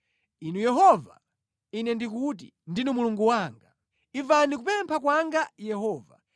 Inu Yehova, ine ndikuti, “Ndinu Mulungu wanga.” Imvani kupempha kwanga Yehova.